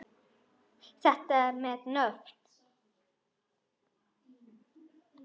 Þetta með nöfn